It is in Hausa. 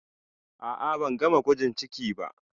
A'a, ban gama gwajin ciki ba